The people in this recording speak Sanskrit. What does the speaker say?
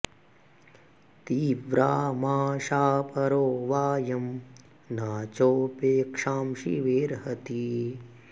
ती व्रा मा शा परो वाऽयं न चोपे क्षां शिवेऽर्हति